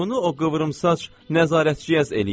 Bunu o qıvrımsaç nəzarətçi eləyir.